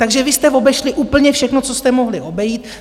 Takže vy jste obešli úplně všechno, co jste mohli obejít.